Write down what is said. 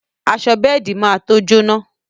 Aṣọ bẹ́ẹ̀di má to jóná